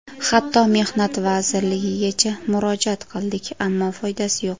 Hatto Mehnat vazirligigacha murojaat qildik, ammo foydasi yo‘q.